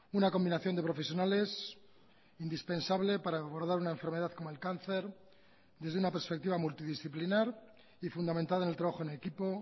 una combinación de profesionales indispensable para abordar una enfermedad como el cáncer desde una perspectiva multidisciplinar y fundamentada en el trabajo en equipo